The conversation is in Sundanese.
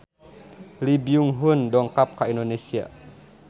Lee Byung Hun dongkap ka Indonesia